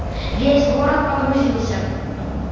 весь город погрузился